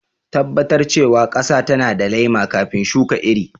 Tabbatar cewa ƙasa tana da laima kafin shuka iri..